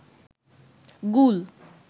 গুল